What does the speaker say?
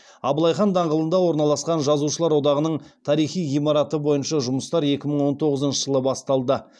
абылай хан даңғылында орналасқан жазушылар одағының тарихи ғимараты бойынша жұмыстар екі мың он тоғызыншы жылы басталды